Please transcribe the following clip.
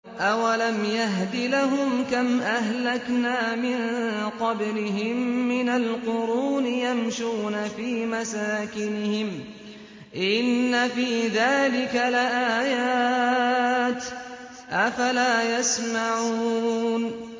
أَوَلَمْ يَهْدِ لَهُمْ كَمْ أَهْلَكْنَا مِن قَبْلِهِم مِّنَ الْقُرُونِ يَمْشُونَ فِي مَسَاكِنِهِمْ ۚ إِنَّ فِي ذَٰلِكَ لَآيَاتٍ ۖ أَفَلَا يَسْمَعُونَ